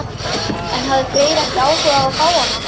En hafði Freyr ekki áhuga á að fá hana?